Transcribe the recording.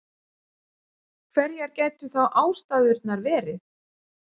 Hverjar gætu þá ástæðurnar verið?